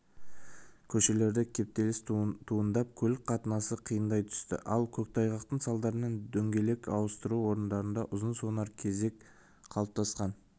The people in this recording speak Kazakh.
көшелерде кептеліс туындап көлік қатынасы қиындай түсті ал көктайғақтың салдарынан дөңгелек ауыстыру орындарында ұзын-сонар кезек қалыптасқан